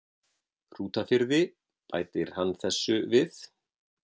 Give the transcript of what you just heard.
Hrútafirði, bætir hann þessu við